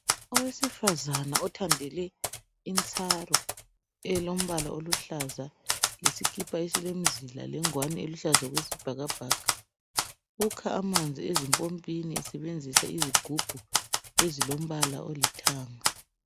Owesfazana othandele intsaru elombala oluhlaza, lesikipa esilemzila lengwani eluhlaza okwesibhakabhaka, ukha amanzi ezimpompini esebenzisa izigubhu ezilombala olithanga.